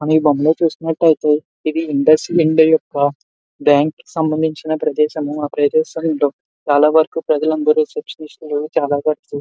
మనం ఈ బొమ్మ లో చూస్తున్నటైతే ఇది ఇండస్ యొక్క బ్యాంక్ సంబంధించిన ప్రదేశము ఆ ప్రదేశము లో చాలావరకు ప్రజలందరూ రెసెప్ప్షనిస్ట్ లు చాల వర్క్ --